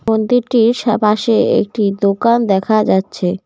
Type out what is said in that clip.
মন্দিরটির সা পাশে একটি দোকান দেখা যাচ্ছে।